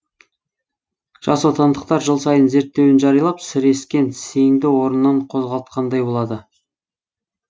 жас отандықтар жыл сайын зерттеуін жариялап сірескен сеңді орнынан қозғалтқандай болады